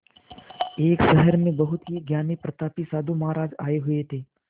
एक शहर में बहुत ही ज्ञानी प्रतापी साधु महाराज आये हुए थे